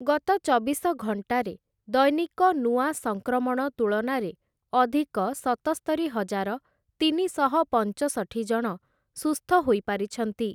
ଗତ ଚବିଶ ଘଣ୍ଟାରେ ଦୈନିକ ନୂଆ ସଂକ୍ରମଣ ତୁଳନାରେ ଅଧିକ ସତସ୍ତରିହଜାର ତିନିଶହ ପଞ୍ଚଷଠି ଜଣ ସୁସ୍ଥ ହୋଇପାରିଛନ୍ତି ।